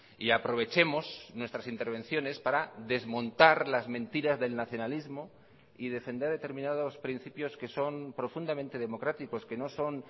y aprovechemos nuestras intervenciones para desmontar las mentiras del nacionalismo y defender determinados principios que son profundamente democráticos que no son